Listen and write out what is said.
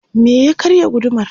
me ya karya gudumar?